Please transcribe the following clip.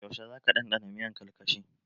Yaushe za ka ɗanɗana miyan karkashi?